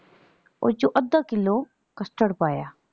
ਓਸ ਚੋਂ ਅੱਧਾ ਕਿੱਲੋ custard ਪਾਇਆ।